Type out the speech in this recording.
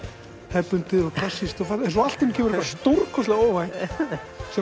hefðbundið og klassískt en svo kemur eitthvað stórkostlega óvænt sem